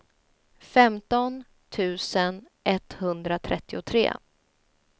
femton tusen etthundratrettiotre